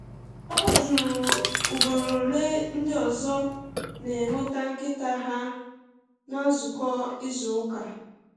O jụrụ ugboro ole ndị ọzọ na-eweta nkịta ha um na nzukọ izu ụka.